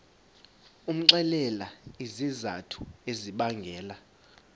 umxelele izizathu ezibangela